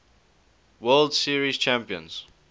world series champions